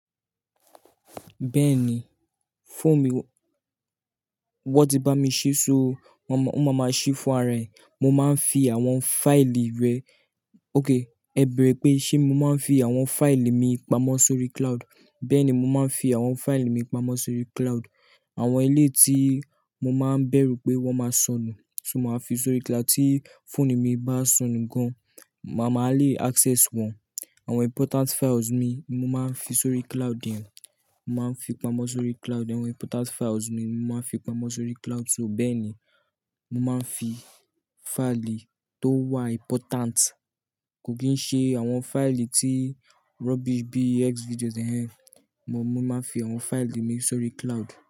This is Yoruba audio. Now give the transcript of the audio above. Bẹ́ẹ̀ni, phone mi wọ́n ti bá mi ṣíṣọ́, o máa máa ṣí fún ara ẹ̀. Mo máa ń fi àwọn file rẹ-- okay, ẹ bẹrẹ pé ṣé mo máa ń fi àwọn file mi pamọ́ sórí cloud? Bẹ́ẹ̀ ni, mo máa ń fi àwọn file mi pamọ́ sórí cloud. Àwọn ilé tí mo máa ń bẹ̀rù pé wọ́n máa sọnù, so mo máa fi sórí cloud tí phone mi bá sọnù gan, màá máa le access wọn. Àwọn important files mi, mo máa ń fi sórí cloud hen, mo máa ń fi pamọ́ sórí cloud. Àwọn important files mi, mo máa ń fi pamọ́ sórí cloud. So bẹ́ẹ̀ ni, mo máa ń fi file tó wà important, kò kì í ṣe àwọn file tí rubbish bí ex-videos hẹ́n. Mo máa ń fi àwọn file mi sórí cloud.